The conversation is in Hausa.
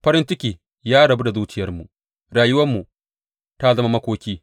Farin ciki ya rabu da zuciyarmu; rayuwarmu ta zama makoki.